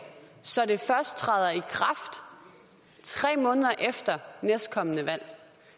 så det først træder i kraft tre måneder efter næstkommende valg